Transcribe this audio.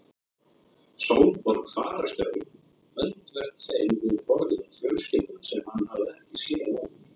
Sólborg fararstjóri öndvert þeim við borðið og fjölskylda sem hann hafði ekki séð áður.